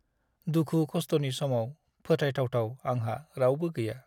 दुखु-खस्थनि समाव फोथायथावथाव आंहा रावबो गैया।